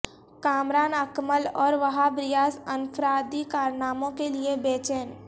کامران اکمل اور وہاب ریاض انفرادی کارناموں کیلئے بے چین